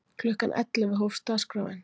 Klukkan ellefu hófst dagskráin.